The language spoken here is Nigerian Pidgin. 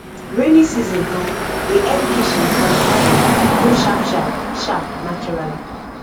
rainy season um dey help kitchen um garden grow sharp sharp sharp naturally